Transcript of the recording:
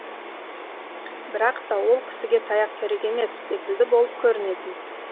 бірақта ол кісіге таяқ керек емес секілді болып көрінетін